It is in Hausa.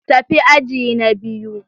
Tafi aji na biyu.